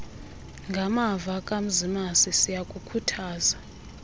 ngamava kamzimasi siyakukhuthaza